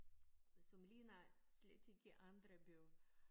Som ligner slet ikke andre byer